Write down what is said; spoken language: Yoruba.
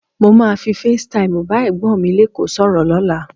Mo máa fi Face Time bá Ẹ̀gbọ́n mi lékòó sọ̀rọ̀ lọ́la.